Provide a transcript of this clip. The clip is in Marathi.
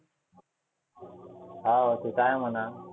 हाव ते तर आहे म्हणा.